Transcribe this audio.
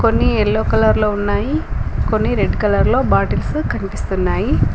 కొన్ని ఎల్లో కలర్లో ఉన్నాయి కొన్ని రెడ్ కలర్లో బాటిల్స్ లో కన్పిస్తున్నాయి.